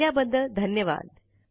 पाहिल्याबद्दल धन्यवाद